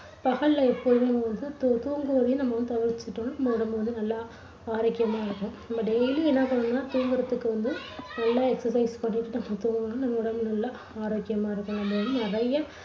பகல்ல எப்போதும் வந்து தூ~ தூங்குவதையும் தவிர்த்துட்டோம்னா நம்ம உடம்பு வந்து நல்லா ஆரோக்கியமா ஆயிடும். நம்ம daily என்னா பண்ணணும்னா தூங்குறதுக்கு வந்து நல்லா excercise பண்ணிட்டு நம்ம தூங்கினோம்னா நம்ம உடம்பு நல்லா ஆரோக்கியமா இருக்கும். நம்ம வந்து நிறைய